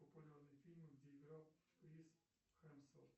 популярные фильмы где играл крис хемсворт